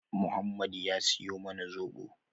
Muhammad ya siyo mana zobo